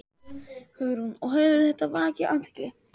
Hugrún: Og hefur þetta vakið athygli?